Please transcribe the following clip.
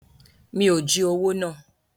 Mi ò jí owó náà.